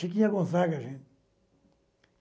Chiquinha Gonzaga, gente.